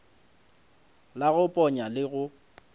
la go ponya le go